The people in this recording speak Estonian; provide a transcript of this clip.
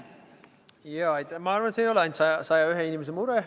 Jaa, ma arvan, et see ei ole ainult 101 inimese mure.